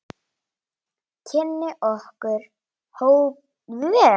Kynni okkar hófust síðar.